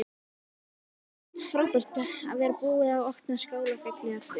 Jóhanna Margrét: Frábært að vera búið að opna Skálafelli aftur?